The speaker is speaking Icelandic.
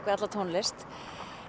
við alla tónlist